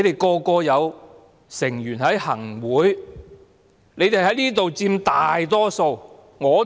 他們有成員在行政會議，在這裏亦佔大多數。